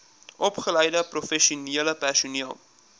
opgeleide professionele personeel